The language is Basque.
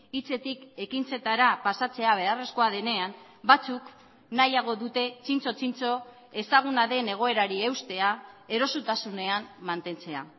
hitzetik ekintzetara pasatzea beharrezkoa denean batzuk nahiago dute txintxo txintxo ezaguna den egoerari eustea erosotasunean mantentzea